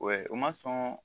u ma sɔn